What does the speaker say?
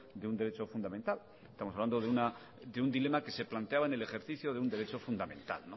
de un derecho fundamental estamos hablando de un dilema que se planteaba en el ejercicio de un derecho fundamental